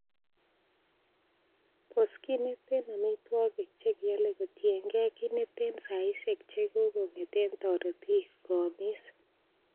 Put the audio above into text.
Bos kit neten amitwogik che kiole kotienge kit neten saisiek chekokonget en toritik koamis.